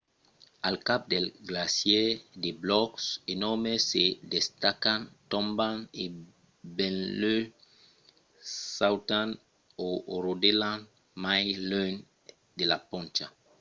al cap dels glacièrs de blòcs enòrmes se destacan tomban e benlèu sautan o rodelan mai luènh de la poncha